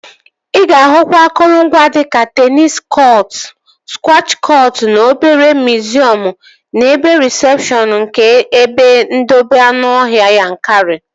Ị ga-ahụkwa akụrụngwa dika teenis kọtụ, skwash kọtụ na obere miziọm n'ebe rịsepshọn nke ebe ndobe anụọhịa Yankari